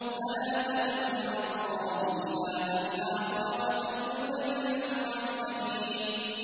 فَلَا تَدْعُ مَعَ اللَّهِ إِلَٰهًا آخَرَ فَتَكُونَ مِنَ الْمُعَذَّبِينَ